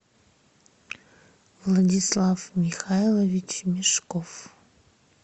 владислав михайлович мешков